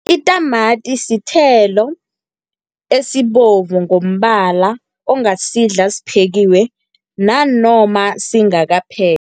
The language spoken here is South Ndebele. Itamati sithelo esibovu ngombala, ongasidla siphekiwe nanoma singakaphekwa.